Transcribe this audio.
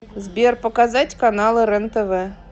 сбер показать каналы рентв